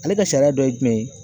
Ale ka sariya dɔ ye jumɛn ye